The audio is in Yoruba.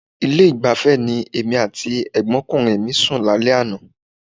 Ilé-ìgbafẹ́ ni èmi àti ẹ̀gbọ́nkùnrin mi sùn lálẹ́ àná.